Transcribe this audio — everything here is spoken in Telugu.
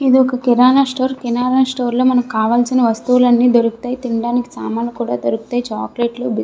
ఇదొక కిరాణా స్టోర్ కిరాణా స్టోర్ లో మనకి కావాల్సిన వస్తువులు అన్నీ దొరుకుతాయి తిండానికి సామాను కూడా దొరుకుతాయి చాక్లెట్స్ బిస్కెట్స్ --